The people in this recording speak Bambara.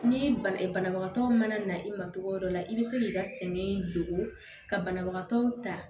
Ni banabagatɔ mana na i ma cogo dɔ la i bɛ se k'i ka sɛin don ka banabagatɔ ta